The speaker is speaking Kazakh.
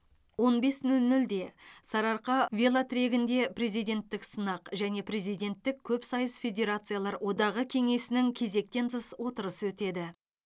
он бес нөл нөлде сарыарқа велотрегінде президенттік сынақ және президенттік көпсайыс федерациялар одағы кеңесінің кезектен тыс отырысы өтеді